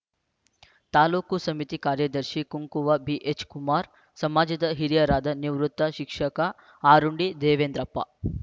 ತಾಲೂಕು ಸಮಿತಿ ಕಾರ್ಯದರ್ಶಿ ಕುಂಕುವ ಬಿಎಚ್‌ ಕುಮಾರ್ ಸಮಾಜದ ಹಿರಿಯರಾದ ನಿವೃತ್ತ ಶಿಕ್ಷಕ ಆರುಂಡಿ ದೇವೇಂದ್ರಪ್ಪ